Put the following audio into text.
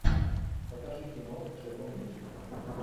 покажи кино с джеффом бриджесом